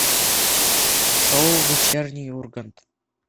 шоу вечерний ургант